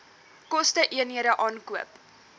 koste eenhede aankoop